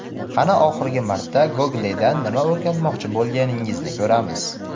qani oxirgi marta Google dan nima o‘rganmoqchi bo‘lganingizni ko‘ramiz.